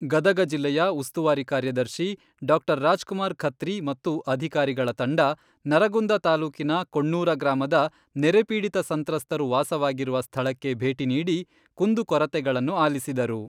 ಗದಗ ಜಿಲ್ಲೆಯ ಉಸ್ತುವಾರಿ ಕಾರ್ಯದರ್ಶಿ ಡಾ. ರಾಜ್ ಕುಮಾರ್ ಖತ್ರಿ ಮತ್ತು ಅಧಿಕಾರಿಗಳ ತಂಡ ನರಗುಂದ ತಾಲೂಕಿನ ಕೊಣ್ಣೂರ ಗ್ರಾಮದ ನೆರೆ ಪೀಡಿತ ಸಂತ್ರಸ್ತರು ವಾಸವಾಗಿರುವ ಸ್ಥಳಕ್ಕೆ ಬೇಟಿ ನೀಡಿ ಕುಂದು ಕೊರತೆಗಳನ್ನು ಆಲಿಸಿದರು.